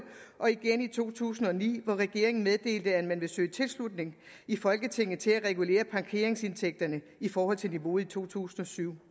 og igen i to tusind og ni hvor regeringen meddelte at man ville søge tilslutning i folketinget til at regulere parkeringsindtægterne i forhold til niveauet i to tusind og syv